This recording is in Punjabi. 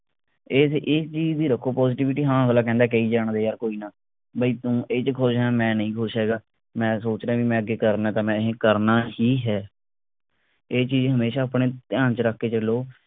ਇਹ ਇਹ ਚੀਜ ਦੀ ਰੱਖੋ positivity ਹਾਂ ਅਗਲਾ ਕਹਿੰਦਾ, ਕਹਿ ਜਾਣ ਦੇ ਯਾਰ ਕੋਈ ਨਾ। ਬਾਈ ਤੂੰ ਇਹ ਚ ਖੁਸ਼ ਆ ਮੈਂ ਨਹੀਂ ਖੁਸ਼ ਹੈਗਾ, ਮੈਂ ਸੋਚ ਰਿਹੈਂ ਵੀ ਮੈਂ ਅੱਗੇ ਕਰਨਾ ਅ, ਤਾਂ ਮੈਂ ਇਹ ਕਰਨਾ ਹੀ ਹੈ। ਇਹ ਚੀਜ ਹਮੇਸ਼ਾ ਆਪਣੇ ਧਿਆਨ ਚ ਰੱਖ ਕੇ ਚੱਲੋ